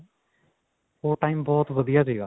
ਉਹ time ਬਹੁਤ ਵਧੀਆ ਸੀਗਾ.